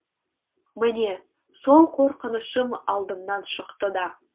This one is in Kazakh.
міне сол қорқынышым алдымнан шықты да